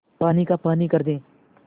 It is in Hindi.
पानी का पानी कर दे